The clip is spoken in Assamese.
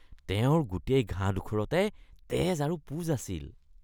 তেওঁৰ গোটেই ঘাঁডোখৰতে তেজ আৰু পূঁজ আছিল।